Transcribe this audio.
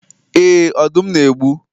Ee, Ọdụm na-egbu